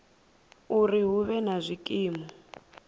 uri hu vhe na zwikimu